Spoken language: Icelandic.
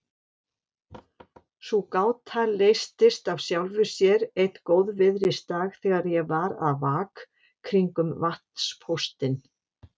Sú gáta leystist af sjálfu sér einn góðviðrisdag þegar ég var að vak kringum vatnspóstinn.